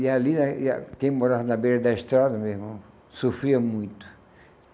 E ali, quem morava na beira da estrada, meu irmão, sofria muito.